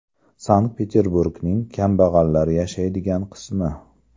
Sankt-Peterburgning kambag‘allar yashaydigan qismi.